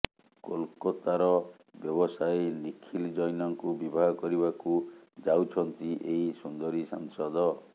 କୋଲକାତାର ବ୍ୟବସାୟୀ ନିଖିଲ ଜୈନଙ୍କୁ ବିବାହ କରିବାକୁ ଯାଉଛନ୍ତି ଏହି ସୁନ୍ଦରୀ ସାଂସଦ